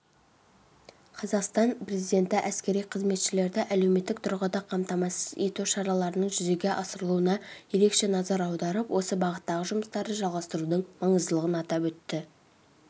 қазақстан президенті әскери қызметшілерді әлеуметтік тұрғыда қамтамасыз ету шараларының жүзеге асырылуына ерекше назар аударып осы бағыттағы жұмыстарды жалғастырудың маңыздылығын атап өтті